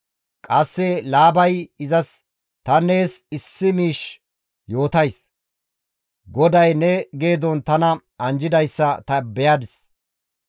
Qasse Laabay izas, «Tani nees issi miish yootays; GODAY ne geedon tana anjjidayssa ta beyadis.